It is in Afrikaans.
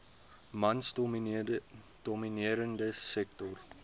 mans gedomineerde sektor